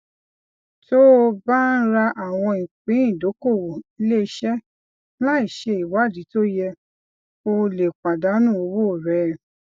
tó o bá ń ra àwọn ìpín ìdókòwò ilé iṣẹ láìṣe ìwádìí tó yẹ o lè pàdánù owó rẹ